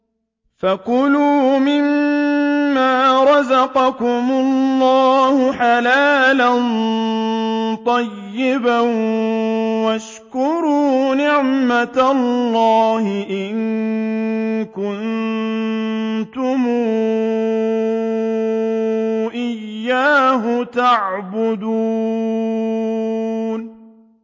فَكُلُوا مِمَّا رَزَقَكُمُ اللَّهُ حَلَالًا طَيِّبًا وَاشْكُرُوا نِعْمَتَ اللَّهِ إِن كُنتُمْ إِيَّاهُ تَعْبُدُونَ